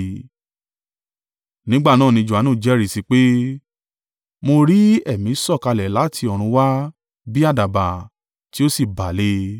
Nígbà náà ni Johanu jẹ́rìí sí i pé, “Mo rí Ẹ̀mí sọ̀kalẹ̀ láti ọ̀run wá bí àdàbà, tí ó sì bà lé e.